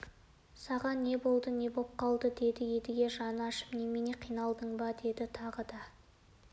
саған не болды не боп қалды деді едіге жаны ашып немене қиналдың ба деді тағы да